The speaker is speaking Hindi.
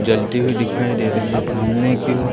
जलती हुई दिखाई दे रही है सामने की ओर--